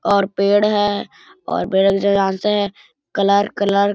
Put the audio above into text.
और पेड़ है और जहाँ से ज कलर कलर --